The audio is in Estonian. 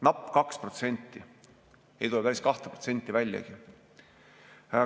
Napp 2%, ei tule päris 2% väljagi.